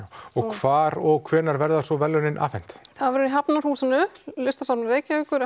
og hvar og hvenær verða svo verðlaunin afhent það verður í Hafnarhúsinu Listasafni Reykjavíkur